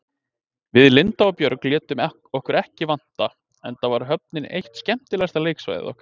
Við Linda og Björg létum okkur ekki vanta, enda var höfnin eitt skemmtilegasta leiksvæði okkar.